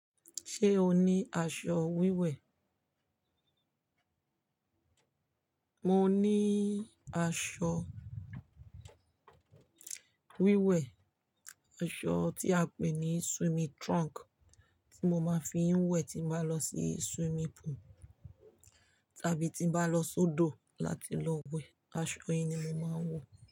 Ṣé o ní aṣọ wíwẹ̀? Mo ní aṣọ wíwẹ̀, aṣọ tí a pè ní swimming trunk tí mo máa ń fi ń wẹ̀ tí bá lọ sí swimming pool tàbí tí bá lọ sódò láti lọ wẹ̀, aṣọ yìí ni mo máa ń wọ.